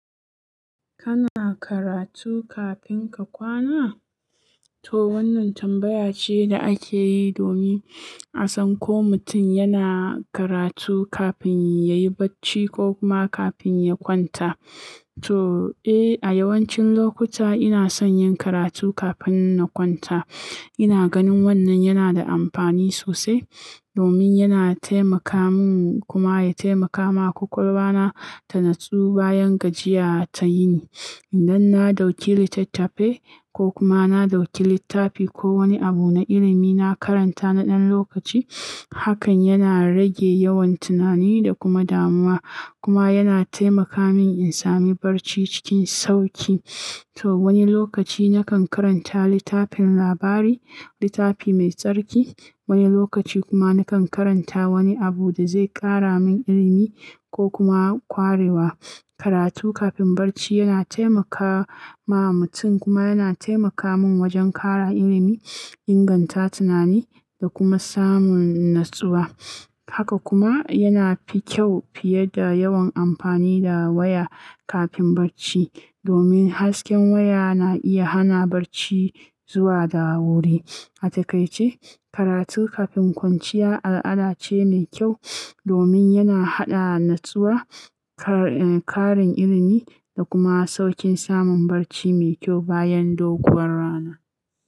Kana karatu kafin ka kwana? To wannan tambaya ce da ake yi domin a san ko mutum yana karatu kafin ya yi barci ko kuma kafin ya kwanta. To, eh, a yawancin lokuta ina son yin karatu kafin na kwanta. Ina ganin wannan yana da amfani sosai domin yana taimaka min kuma ya taimaka ma ƙwaƙwalwa na ta natsu bayan gajiya ta yini. Idan na ɗauki littattafai ko kuma na ɗauki littafi ko wani abu na ilimi na karanta na ɗan lokaci, hakan yana rage yawan tunani da kuma damuwa kuma yana taimaka min in sami barci cikin sauƙi. To wani lokaci nakan karanta littafin labari, littafi mai tsarki, wani lokaci kuma nakan karanta wani abu da zai ƙara min ilimi ko kuma kwarewa. Karatu kafin barci yana taimakawa mutum kuma yana taimaka min wajen ƙara ilimi, inganta tunani da kuma samun natsuwa. Haka kuma yana fi kyau fiye da yawan amfani da waya kafin barci domin hasken waya na iya hana barci zuwa da wuri. A takaice, karatu kafin kwanciya al'ada ce mai kyau domin yana haɗa natsuwa, ƙarin ilimi da kuma sauƙin samun barci mai kyau bayan doguwar rana.